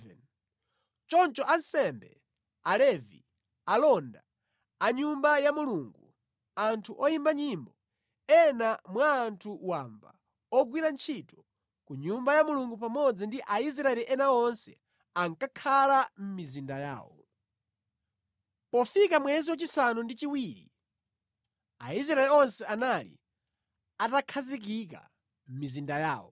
Choncho ansembe, Alevi, alonda a Nyumba ya Mulungu, anthu oyimba nyimbo, ena mwa anthu wamba, ogwira ntchito ku Nyumba ya Mulungu pamodzi ndi Aisraeli ena onse ankakhala mʼmizinda yawo. Ezara Awerenga Malamulo Pofika mwezi wachisanu ndi chiwiri Aisraeli onse anali atakhazikika mʼmizinda yawo.